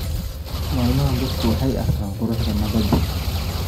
Maalmahan dadku waxay arkaan quruxda nabadda